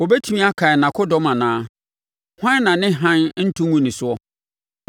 Wɔbɛtumi akan nʼakodɔm anaa? Hwan na ne hann nto ngu ne soɔ?